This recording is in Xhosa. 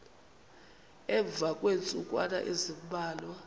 emva kweentsukwana ezimbalwa